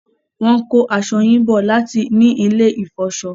wón ko aṣọ yín bó láti ní ilè ifọṣọ.